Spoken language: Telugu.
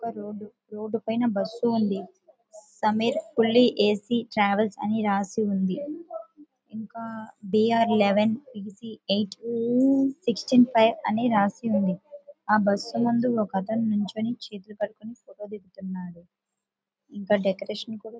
ఒక రోడ్ రోడ్డుపైన ఒక బస్సు ఉంది. సమీర్ కుల్లి ఎ సి ట్రావెల్స్ అని రాసి ఉంది. ఇంకా B R eleven Q C eight sixteen five అని రాసి ఉంది. ఆ బస్సులో ఒక అతను చేతులు కట్టుకొని ఫోటో దిగుతున్నాడు. ఇంకా డెకరేషన్ కూడా --